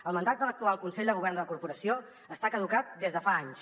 el mandat de l’actual consell de govern de la corporació està caducat des de fa anys